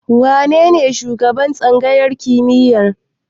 Wanene shugaban tsangayar kimiyyar?